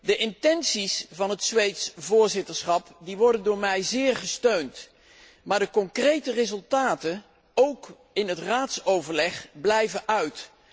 De intenties van het Zweedse voorzitterschap worden door mij zeer gesteund, maar de concrete resultaten, ook in het Raadsoverleg, blijven uit.